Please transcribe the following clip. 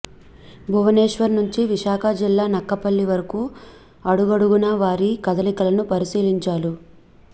భువనేశ్వర్ నుంచి విశాఖ జిల్లా నక్కపల్లి వరకూ అడగడుగునా వారి కదలికలను పరిశీలించారు